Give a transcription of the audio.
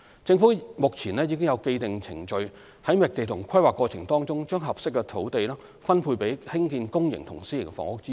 政府目前已有既定程序於覓地和規劃過程中把合適的土地分配作興建公營和私營房屋之用。